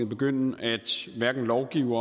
begynde at lovgive om